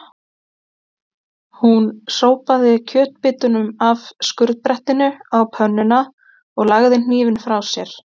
Hún sópaði kjötbitunum af skurðbrettinu á pönnuna og lagði hnífinn frá sér.